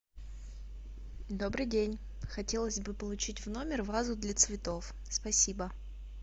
добрый день хотелось бы получить в номер вазу для цветов спасибо